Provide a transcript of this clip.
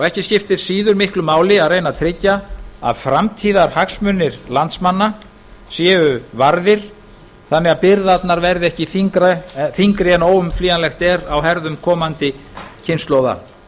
ekki skiptir síður miklu máli að reyna að tryggja að framtíðarhagsmunir landsmanna séu varðir þannig að byrðarnar verði ekki þyngri en óumflýjanlegt er á herðum komandi kynslóða